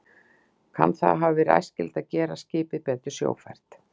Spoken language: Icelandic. Kann það að hafa verið æskilegt til að gera skipið betur sjófært.